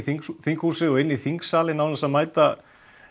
þinghúsið og inn í þingsalinn án þess að mæta